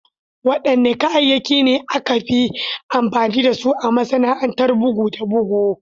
Wadanne kayayyaki ne aka fi amfani da su a masana’antar bugu da bugu?